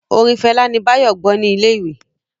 Orin Fela ní Bayo gbó ní ilé ìwé